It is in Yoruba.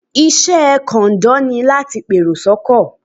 Iṣẹ́ kọ̀ǹdọ́ ni láti pèrò sọ́kọ̀.